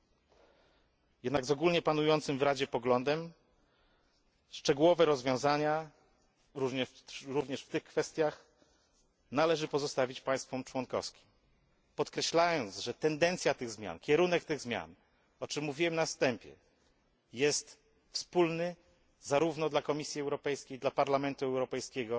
Jednak zgodnie z ogólnie panującym w Radzie poglądem szczegółowe rozwiązania, również w tych kwestiach, należy pozostawić państwom członkowskim, podkreślając, że tendencja tych zmian, ich kierunek, o czym mówiłem na wstępie, jest wspólny zarówno dla Komisji Europejskiej, dla Parlamentu Europejskiego,